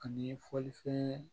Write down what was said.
Ani fɔlifɛn